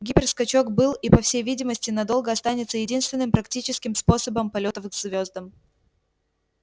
гиперскачок был и по всей видимости надолго останется единственным практическим способом полётов к звёздам